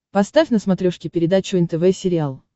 поставь на смотрешке передачу нтв сериал